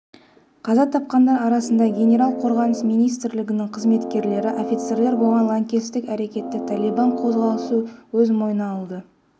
қаза тапқандар арасында генерал қорғаныс министрлігінің қызметкерлері офицерлер болған лаңкестік әрекетті талибан қозғалысы өз мойнына алды